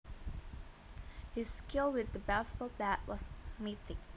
His skill with the baseball bat was mythic